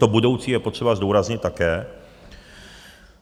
To budoucí je potřeba zdůraznit také.